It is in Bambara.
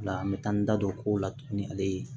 O la n bɛ taa n da don kow la tuguni ale ye